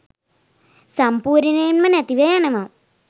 සම්පූර්ණයෙන්ම නැතිව යනවා.